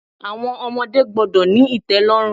Àwọn ọmọdé gbọ́dọ̀ ní ìtẹ́lọ́rùn.